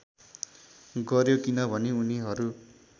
गर्‍यो किनभने उनीहरू